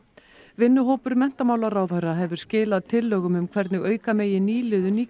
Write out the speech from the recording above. vinnuhópur menntamálaráðherra hefur skilað tillögum um hvernig auka megi nýliðun í